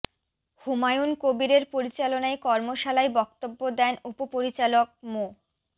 হুমায়ুন কবিরের পরিচালনায় কর্মশালায় বক্তব্য দেন উপ পরিচালক মো